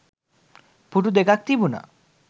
පුටු දෙකක්‌ තිබුණා.